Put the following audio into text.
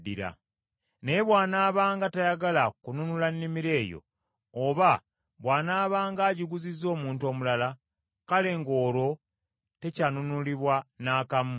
Naye bw’anaabanga tayagala kununula nnimiro eyo, oba bw’anaabanga agiguzizza omuntu omulala, kale ng’olwo tekyanunulibwa n’akamu.